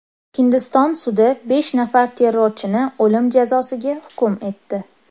Hindiston sudi besh nafar terrorchini o‘lim jazosiga hukm etdi.